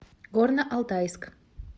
горно алтайск